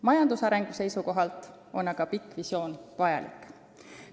Majandusarengu seisukohalt on aga pikk visioon vajalik.